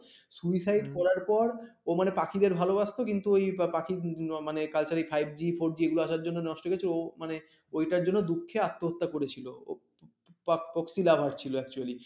কাক পক্ষী lover ছিল actually